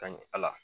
Ka ɲɛ ala